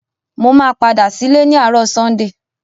Mo máa padà sílé ni àárò Sunday